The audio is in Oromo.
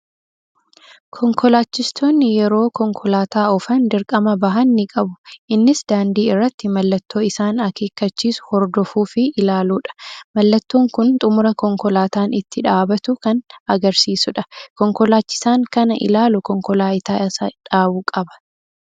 Konkolaachistoonni yeroo konkolaataa oofan dirqama bahan ni qabu. Innis daandii irratti mallattoo isaan akeekkachiisu hordofuu fi ilaaluudha. Mallattoon kun xumura konkolaataan itti dhaabatu kan agarsiisudha. Konkolaachisaan kana ilaalu konkolaataa isaa dhaabuu qaba.